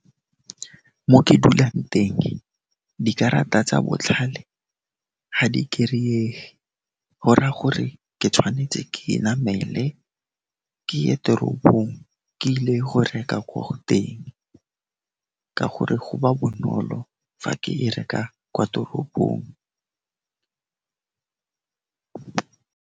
Mo ke dulang teng, dikarata tsa botlhale ga di kereyege, gor'a gore ke tshwanetse ke namele, ke ye teropong, ke ile go reka ko go teng ka gore go ba bonolo fa ke e reka kwa toropong.